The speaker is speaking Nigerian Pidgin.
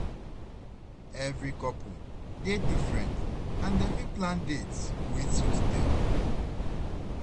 Every couple dey different and dem fit plan dates wey suit dem.